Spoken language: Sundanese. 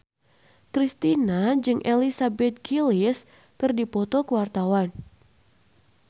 Kristina jeung Elizabeth Gillies keur dipoto ku wartawan